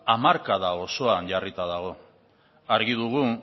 hamarkada osoan jarrita dago argi dugu